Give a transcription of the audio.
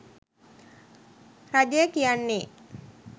රජය කියන්නේ